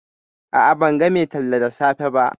A'a, ban ga mai tallar da safe ba